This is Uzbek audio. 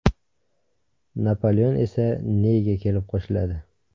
Napoleon esa Neyga kelib qo‘shiladi.